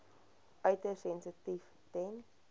uiters sensitief ten